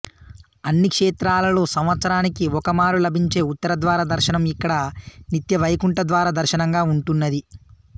అన్ని క్షేత్రాలలో సంవత్సరానికి ఒకమారు లభించే ఉత్తర ద్వార దర్శనం ఇక్కడ నిత్యవైకుంఠద్వార దర్శనంగా ఉంటున్నది